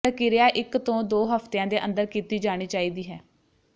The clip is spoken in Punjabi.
ਪ੍ਰਕਿਰਿਆ ਇਕ ਤੋਂ ਦੋ ਹਫਤਿਆਂ ਦੇ ਅੰਦਰ ਕੀਤੀ ਜਾਣੀ ਚਾਹੀਦੀ ਹੈ